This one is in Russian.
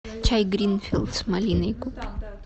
чай гринфилд с малиной купи